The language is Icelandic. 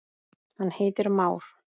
hann heitir már.